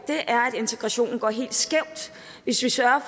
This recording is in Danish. er at integrationen går helt skævt hvis vi sørger